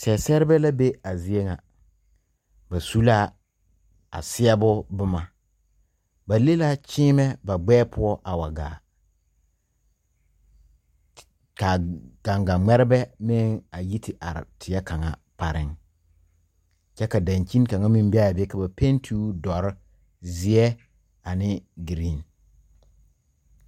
Sɛseɛrebɛ la be a zie ŋa ba su la a seɛɛbo bomma ba le la kyiimɛ ba gbɛɛ poɔ a wa gaa kaa gaŋga ngmɛrebɛ meŋ a yi te are tie kaŋa pareŋ kyɛ ka dangkyini kaŋa meŋ beaa be ka penti o dɔre, zeɛ ane green.